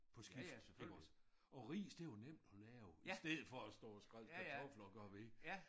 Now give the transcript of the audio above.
På skift iggås og ris det jo nemt at lave i stedet for at stå og skrælle kartofler og gøre ved